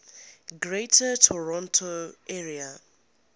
greater toronto area